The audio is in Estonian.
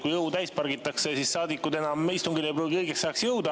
Kui õu täis pargitakse, siis saadikud ei pruugi õigeks ajaks istungile jõuda.